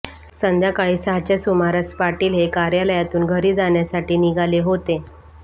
संध्याकाळी सहाच्या सुमारास पाटील हे कार्यालयातून घरी जाण्यासाठी निघाले होते